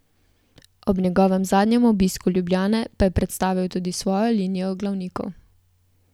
Ob njegovem zadnjem obisku Ljubljane pa je predstavil tudi svojo linijo glavnikov.